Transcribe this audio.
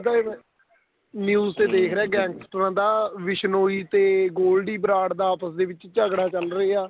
ਈ ਮੈਂ news ਤੇ ਰਿਹਾ ਗੈੰਗਸਟਰਾਂ ਦਾ ਬਿਸ਼ਨੋਈ ਤੇ ਗੋਲਡੀ ਬਰਾੜ ਦਾ ਆਪਸ ਦੇ ਵਿੱਚ ਝਗੜਾ ਚੱਲ ਰਿਹਾ